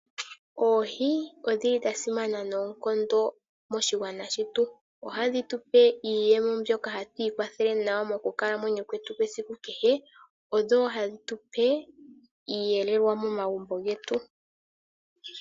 Oohi odhi li dha simana noonkondo moshigwana shetu. Ohadhi tu pe iiyemo mbyoka hatu ikwathele nayo mokukalamwenyo kwetu kwesiku kehe. Odho wo hadhi tu pe iiyelelwa momagumbo getu.